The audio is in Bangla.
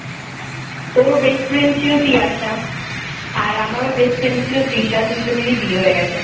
তোর best friend ছিল তিয়াসা আর আমার best friend ছিল তৃষা দুইজনেরই বিয়ে হয়ে গেছে